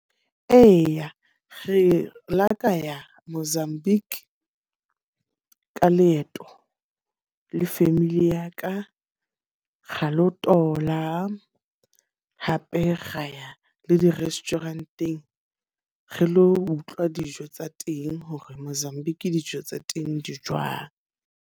Eya, re lo ka ya Mozambique ka leeto le family ya ka. Ra lo tola hape ra ya le di-restaurant-eng re lo utlwa dijo tsa teng hore Mozambique dijo tsa teng di jwang.